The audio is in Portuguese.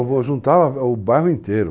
juntava o bairro inteiro.